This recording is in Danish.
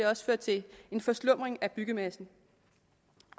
også føre til en forslumning af byggemassen